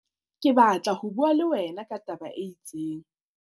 ke batla ho bua le wena ka taba e itseng